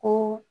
Ko